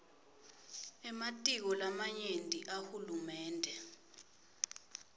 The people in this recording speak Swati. ematiko lamanyenti ahulumende